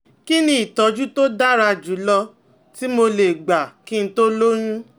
Kí ni ìtọ́jú tó dára jù lọ tí mo lè gbà kí n tó lóyún?